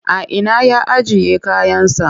A ina ya ajiye kayansa?